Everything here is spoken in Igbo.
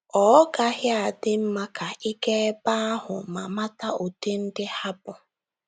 Ọ́ gaghị adị mma ka ị gaa ebe ahụ ma mata ụdị ndị ha bụ?